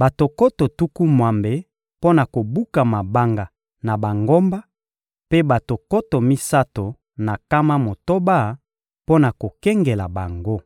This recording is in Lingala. bato nkoto tuku mwambe mpo na kobuka mabanga na bangomba, mpe bato nkoto misato na nkama motoba mpo na kokengela bango.